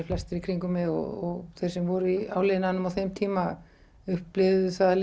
flestir í kringum mig og þeir sem voru í áliðnaðinum á þeim tíma upplifðu það